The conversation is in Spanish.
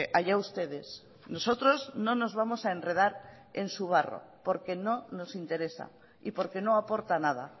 haya ustedes nosotros no nos vamos a enredar en su barro porque no nos interesa y porque no aporta nada